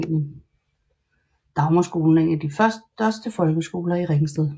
Dagmarskolen er en af de større folkeskoler i Ringsted